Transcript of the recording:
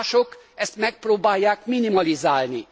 Mások, azt megpróbálják minimalizálni.